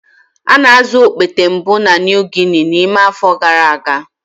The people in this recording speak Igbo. A na-azụ okpete mbụ na New Guinea n'ime afọ gara aga.